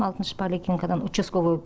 алтыншы поликлиникадан учасковой